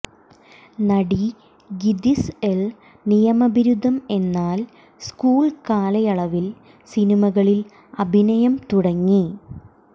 നടി ഗിതിസ് ൽ നിയമബിരുദം എന്നാൽ സ്കൂൾ കാലയളവിൽ സിനിമകളിൽ അഭിനയം തുടങ്ങി